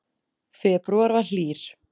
Febrúar var hlýr